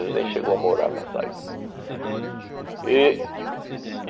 Ele nem chegou a morar nessa aí. E